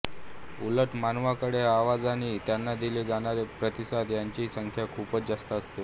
उलट मानवाकडे आवाज आणि त्यांना दिले जाणारे प्रतिसाद यांची संख्या खूपच जास्त असते